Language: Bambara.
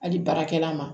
Hali baarakɛla ma